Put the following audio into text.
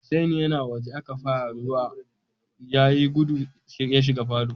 Hussain ya na waje da aka fara ruwan, ya yi guda ya shiga falo.